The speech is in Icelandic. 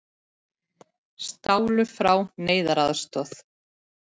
Stálu frá neyðaraðstoð